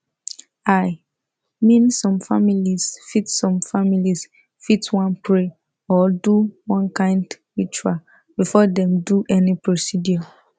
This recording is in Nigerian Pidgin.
i mean some families fit some families fit wan pray or do one kind ritual before dem do any procedure